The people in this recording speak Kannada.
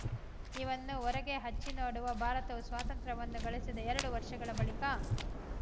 ಇವನ್ನು ಒರೆಗೆ ಹಚ್ಚಿ ನೋಡುವ ಭಾರತವು ಸ್ವಾತಂತ್ರ್ಯವನ್ನು ಗಳಿಸಿದ ಎರಡು ವರ್ಷಗಳ ಬಳಿಕ